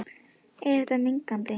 En er þetta mengandi?